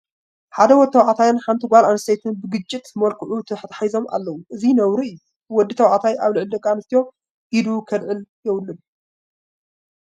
ሓደ ወዲ ተባዕታይን ሓንቲ ጓል ኣነስተይትን ብግጭት መልክዑ ተተሓሒዞም ኣለዉ፡፡ እዚ ነውሪ እዩ፡፡ ወዲ ተባዕታይ ኣብ ልዕሊ ጓል ኣነስተይቲ ኢዱ ከልዕል የብሉን፡፡